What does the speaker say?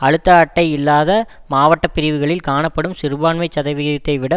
அழுத்த அட்டை இல்லாத மாவட்ட பிரிவுகளில் காணப்படும் சிறுபான்மைச் சதவிதத்தைவிட